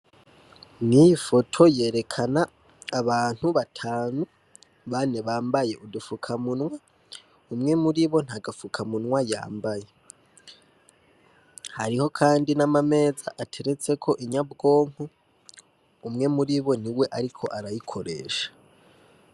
Nk'iyi foto yerekana abantu batanu, bane bambaye udufukamunwa, umwe muribo nta gafukamunwa yambaye. Hariho kandi n'amameza ateretseko inyabwonko, umwe muribo niwe ariko arayikoresha.